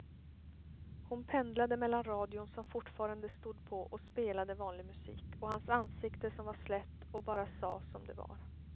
Hon pendlade mellan radion som fortfarande stod på och spelade vanlig musik och hans ansikte som var slätt och bara sa som det var.